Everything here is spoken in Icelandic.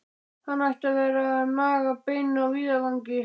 Hann ætti að vera að naga bein á víðavangi!